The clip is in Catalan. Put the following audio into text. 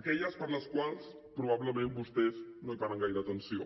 aquelles a les quals probablement vostès no hi paren gaire atenció